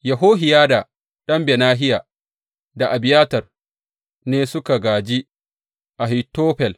Yehohiyada ɗan Benahiya da Abiyatar ne suka gāji Ahitofel.